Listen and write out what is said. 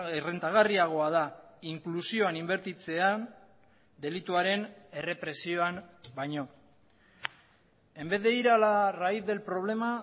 errentagarriagoa da inklusioan inbertitzea delituaren errepresioan baino en vez de ir a la raíz del problema